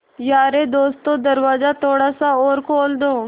यारे दोस्तों दरवाज़ा थोड़ा सा और खोल दो